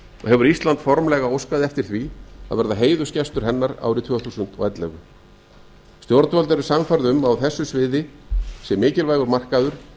hefur ísland formlega óskað eftir því að verða heiðursgestur hennar árið tvö þúsund og ellefu stjórnvöld eru sannfærð um að á þessu sviði sé mikilvægur markaður